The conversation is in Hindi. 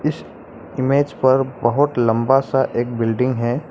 इमेज़ पर बहोत लंबा सा एक बिल्डिंग है।